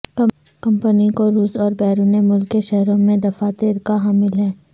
company کو روس اور بیرون ملک کے شہروں میں دفاتر کا حامل ہے